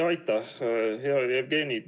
Aitäh, hea Jevgeni!